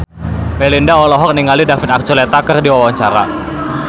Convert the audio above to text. Melinda olohok ningali David Archuletta keur diwawancara